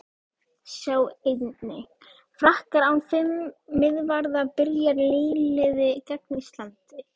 Sjá einnig: Frakkar án fimm miðvarða- Byrjar nýliði gegn Íslandi?